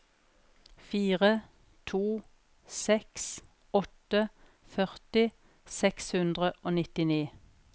fire to seks åtte førti seks hundre og nittini